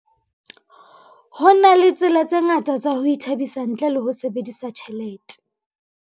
Ho na le tsela tse ngata tsa ho ithabisa ntle le ho sebedisa tjhelete.